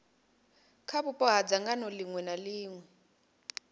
kha vhupo ha dzangano ḽiṅwe